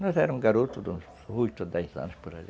Nós éramos garotos, uns oito a dez anos por ali.